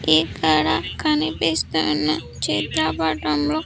ఇక్కడ కనిపిస్తున్న చిత్రపటంలో.